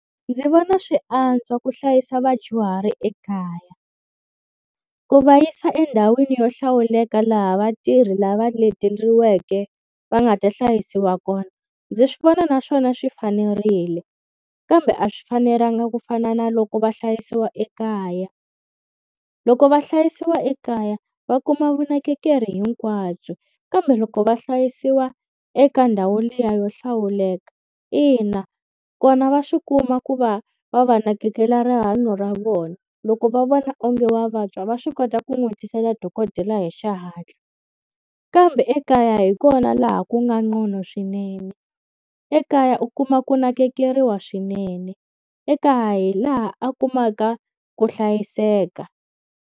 Ndzi vona swi antswa ku hlayisa vadyuhari ekaya. Ku va yisa endhawini yo hlawuleka laha vatirhi lava leteriweke va nga ta hlayisiwa kona, ndzi swi vona naswona swi fanerile. Kambe a swi fanelanga ku fana na loko va hlayisiwa ekaya. Loko va hlayisiwa ekaya va kuma vunakekeri hinkwabyo, kambe loko va hlayisiwa eka ndhawu liya yo hlawuleka, ina kona va swi kuma ku va va va nakekela rihanyo ra vona. Loko va vona onge wa vabya va swi kota ku n'wi tisela dokodela hi xihatla, kambe ekaya hi kona laha ku nga ngcono swinene. Ekaya u kuma ku nakekeriwa swinene, ekaya hi laha a kumaka ku hlayiseka.